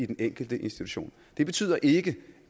den enkelte institution det betyder ikke